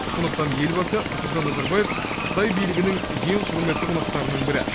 сондықтан елбасы нұрсұлтан назарбаев қытай билігінің ең құрметті қонақтарының бірі